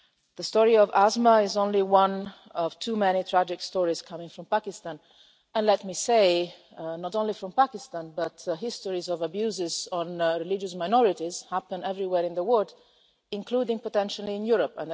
The story of Asma is only one of too many tragic stories coming from Pakistan and let me say, not only from Pakistan but these stories of abuses on religious minorities happen everywhere in the world, including potentially in Europe.